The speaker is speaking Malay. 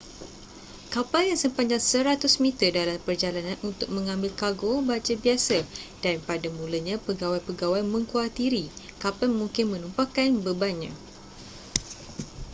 kapal yang sepanjang 100-meter dalam perjalanan untuk mengambil kargo baja biasa dan pada mulanya pegawai-pegawai mengkhuatiri kapal mungkin menumpahkan bebannya